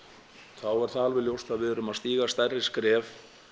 þá er það alveg ljóst að við erum að stíga stærri skref